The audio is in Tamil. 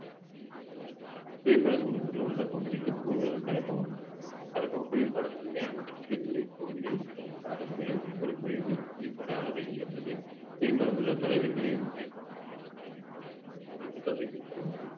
புவிப்படத்தில் கொடுக்கப்பட்டுள்ள உள்ளடக்கம் குறித்து கூறுவது தலைப்பு ஆகும் தலைப்பு புவிப்படத்தின் மேல் மற்றும் கீழ் ஒரு விளிம்பு பகுதி கொடுக்கப்படுகிறது புவிப்பட அளவை என்பது புவிபரப்பு உள்ள தொலைவிற்கு